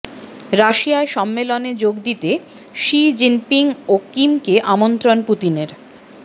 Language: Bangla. রাশিয়ায় সম্মেলনে যোগ দিতে শি জিনপিং ও কিমকে আমন্ত্রণ পুতিনের